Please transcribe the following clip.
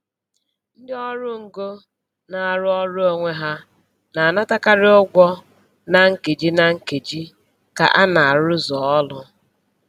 Ndị ọrụ ngo na-arụ ọrụ onwe ha na-anatakarị ugwo na nkeji na nkeji ka a na-arụzu ọrụ.